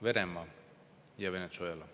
Venemaa ja Venezuela!